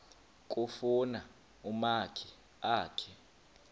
kufuna umakhi akhe